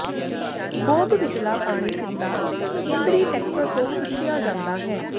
Bob ਵਿਚਲਾ ਪਾਣੀ ਸਿੱਧਾ ਕੇਂਦਰੀ ਟੈੱਕਰ ਤੋਂ ਖਿੱਚਿਆ ਜਾਂਦਾ ਹੈ